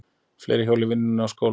Fleiri hjóla í vinnu og skóla